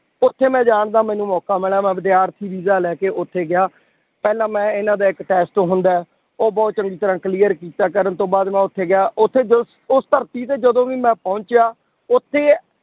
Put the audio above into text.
ਉੱਥੇ ਮੈਂ ਜਾਣਦਾ ਮੈਨੂੰ ਮੋਕਾ ਮਿਲਿਆ ਮੈਂ ਵਿਦਿਆਰਥੀ ਵੀਜ਼ਾ ਲੈ ਕੇ ਉੱਥੇ ਗਿਆ, ਪਹਿਲਾਂ ਮੈਂ ਇਹਨਾਂ ਦਾ ਇੱਕ test ਹੁੰਦਾ ਹੈ, ਉਹ ਬਹੁਤ ਚੰਗੀ ਤਰ੍ਹਾਂ clear ਕੀਤਾ, ਕਰਨ ਤੋਂ ਬਾਅਦ ਮੈਂ ਉੱਥੇ ਗਿਆ ਉੱਥੇ ਜੋ ਉਸ ਧਰਤੀ ਤੇ ਜਦੋਂ ਵੀ ਮੈਂ ਪਹੁੰਚਿਆ ਉੱਥੇ